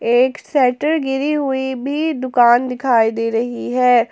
एक शेटर गिरी हुई भी दुकान दिखाई दे रही है।